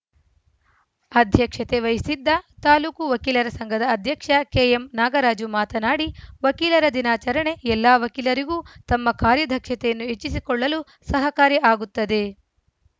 ಅಧ್ಯಕ್ಷತೆ ವಹಿಸಿದ್ದ ತಾಲೂಕು ವಕೀಲರ ಸಂಘದ ಅಧ್ಯಕ್ಷ ಕೆಎಂ ನಾಗರಾಜು ಮಾತನಾಡಿ ವಕೀಲರ ದಿನಾಚರಣೆ ಎಲ್ಲ ವಕೀಲರಿಗೂ ತಮ್ಮ ಕಾರ್ಯದಕ್ಷತೆಯನ್ನು ಹೆಚ್ಚಿಸಿಕೊಳ್ಳಲು ಸಹಕಾರಿ ಆಗುತ್ತದೆ